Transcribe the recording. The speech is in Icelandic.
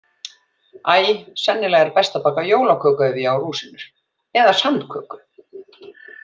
Æ, sennilega er best að baka jólaköku ef ég á rúsínur, eða sandköku.